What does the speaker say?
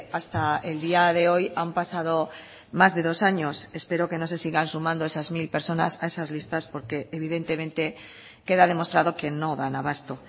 hasta el día de hoy han pasado más de dos años espero que no se sigan sumando esas mil personas a esas listas porque evidentemente queda demostrado que no dan abasto